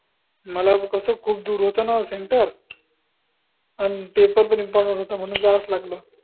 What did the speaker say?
मला कस खूप दूर होत ना center आन paper पन important होता म्हनून जावंच लागलं